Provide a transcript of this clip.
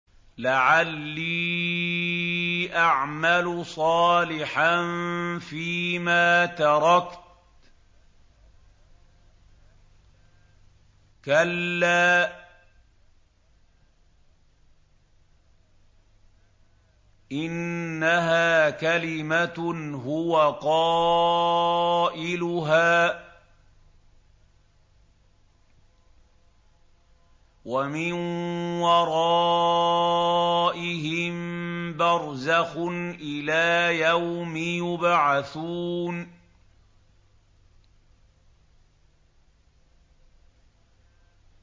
لَعَلِّي أَعْمَلُ صَالِحًا فِيمَا تَرَكْتُ ۚ كَلَّا ۚ إِنَّهَا كَلِمَةٌ هُوَ قَائِلُهَا ۖ وَمِن وَرَائِهِم بَرْزَخٌ إِلَىٰ يَوْمِ يُبْعَثُونَ